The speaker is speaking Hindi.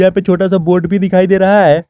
छोटा सा बोट भी दिखाई दे रहा है।